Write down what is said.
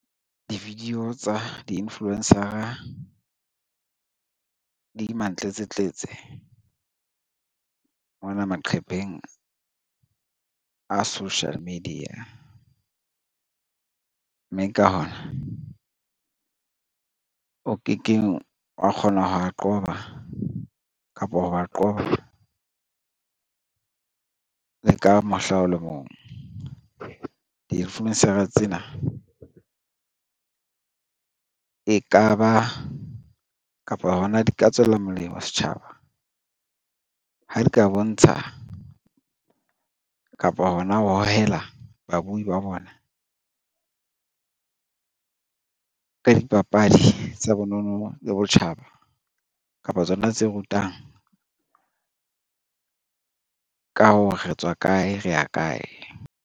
Di-video tsa di-influencer-a di mantletsetletse mona maqepheng a social media, mme ka hona o kekeng wa kgona ho a qoba kapo hi ba qoba le ka mohla o le mong. Di-influencer tsena e ka ba kapa hona di ka tswela molemo setjhaba ha di ka bontsha kapo hona ho hohela babui ba bona ka dipapadi tsa bonono le botjhaba kapa tsona tse rutang ka ho re tswa kae, re ya kae.